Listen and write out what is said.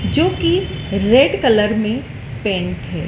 जो कि red colour में पेंट है।